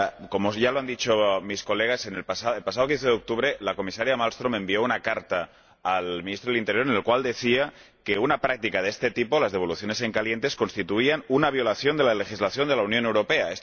Como ya han dicho mis colegas, el pasado 15 de octubre la Comisaria Malmström envió una carta al ministro del Interior en la que decía que una práctica de este tipo —las devoluciones en caliente— constituía una violación de la legislación de la Unión Europea.